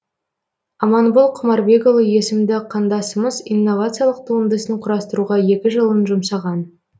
аманбол құмарбекұлы есімді қандасымыз инновациялық туындысын құрастыруға екі жылын жұмсаған